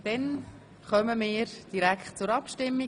Somit kommen wir direkt zur Abstimmung.